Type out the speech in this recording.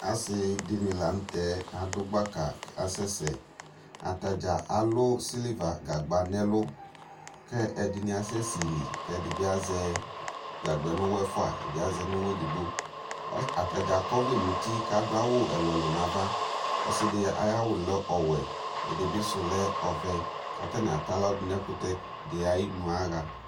asii dini lantɛ adʋ gbaka kʋ asɛsɛ, atagya alʋ silver gagba nʋ ɛlʋ kʋ ɛdini asɛ sɛli kʋ ɛdibi azɛ gagba nʋ ʋwɔ ɛƒʋa ɛdi azɛ nʋ ʋwɔ ɛdigbɔ, atagya akɔ ɔvlɛ nʋ ʋti kʋ adʋ awʋɛlʋɛlʋ nʋaɣa, ɔsidi ayi awʋ lɛ ɔwɛ, ɛdibi sʋ lɛ ɔvɛ kʋ atani atalɔ dʋ ɛkʋtɛ di ayinʋ yaha